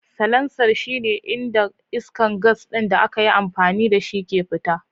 Salancer shine inda iskar gas ɗin da aka yi amfani da shi ke fita.